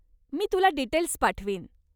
मी तुला डिटेल्स पाठवीन.